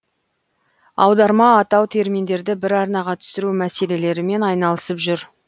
аударма атау терминдерді бір арнаға түсіру мәселелерімен айналысып жүр